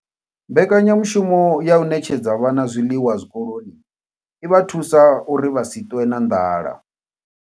Mbekanyamushumo ya u ṋetshedza vhana zwiḽiwa zwikoloni i vha thusa uri vha si ṱwe na nḓala.